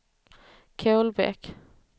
Kolbäck